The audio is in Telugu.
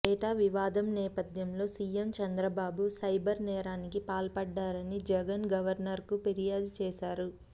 డేటా వివాదం నేపథ్యంలో సీఎం చంద్రబాబు సైబర్ నేరానికి పాల్పడ్డారని జగన్ గవర్నర్కు ఫిర్యాదు చేశారు